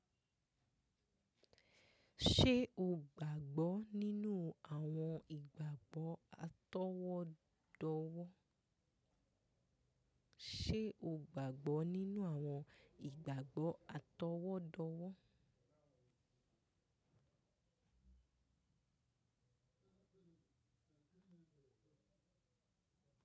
Ṣé o gbàgbọ́ ninu awon igabagbo atọwọdọwọ? Nínú àwọn ìgbàgbọ́ atọwọ́dọ́wọ́?